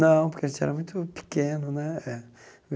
Não, porque a gente era muito pequeno, né eh?